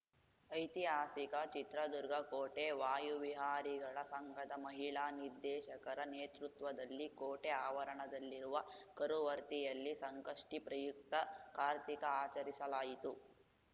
ಐತಿಹಾಸಿಕ ಚಿತ್ರದುರ್ಗ ಕೋಟೆ ವಾಯುವಿಹಾರಿಗಳ ಸಂಘದ ಮಹಿಳಾ ನಿರ್ದೇಶಕರ ನೇತೃತ್ವದಲ್ಲಿ ಕೋಟೆ ಆವರಣದಲ್ಲಿರುವ ಕರುವರ್ತಿಯಲ್ಲಿ ಸಂಕಷ್ಟಿಪ್ರಯುಕ್ತ ಕಾರ್ತಿಕ ಆಚರಿಸಲಾಯಿತು